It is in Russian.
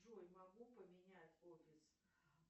джой могу поменять офис